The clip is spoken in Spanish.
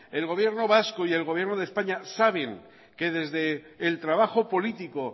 el gobierno vasco y el gobierno de españa saben que desde el trabajo político